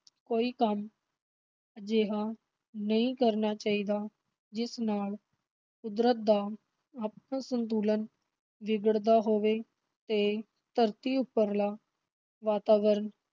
ਕੋਈ ਕੰਮ ਅਜਿਹਾ ਨਹੀਂ ਕਰਨਾ ਚਾਹੀਦਾ, ਜਿਸ ਨਾਲ ਕੁਦਰਤ ਦਾ ਆਪਣਾ ਸੰਤੁਲਨ ਵਿਗੜਦਾ ਹੋਵੇ ਤੇ ਧਰਤੀ ਉੱਪਰਲਾ ਵਾਤਾਵਰਨ